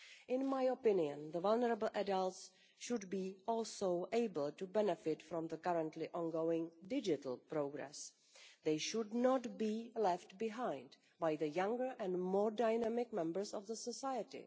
In my opinion, vulnerable adults should also be able to benefit from the currently ongoing digital progress they should not be left behind by the younger and more dynamic members of the society.